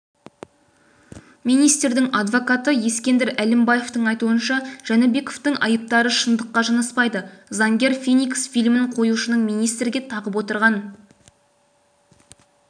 министрдің адвокаты ескендір әлімбаевтің айтуынша жәнібековтің айыптары шындыққа жанаспайды заңгер феникс фильмін қоюшының министрге тағып отырған